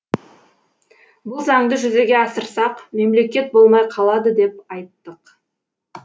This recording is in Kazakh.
бұл заңды жүзеге асырсақ мемлекет болмай қалады деп айттық